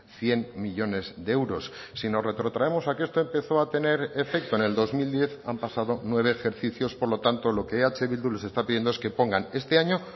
cien millónes de euros si nos retrotraemos a que esto empezó a tener efecto en el dos mil diez han pasado nueve ejercicios por lo tanto lo que eh bildu les está pidiendo es que pongan este año